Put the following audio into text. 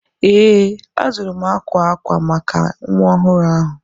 Ee, azụrụ m akwa akwa maka nwa ọhụrụ ahụ.